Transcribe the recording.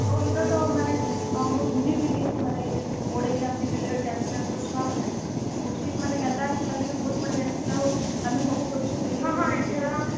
ଆଉ ଏଇଟା ତ ମାନେ ମୁଁ ବୁଝିଥିଲି ମାନେ boarding ମାନେ ten class ର ଛୁଆ ମାନେ କୋୟେଶ୍ଚନ ମାନେ କି ଯେନ୍ତା ବହୁତ ବଢିଆ ଆସିଥିଲା ଆଉ ଆମେ ସବୁ କରିକି ଗାଲୁ ବୋଲି ସବୁ କହୁଥିଲେ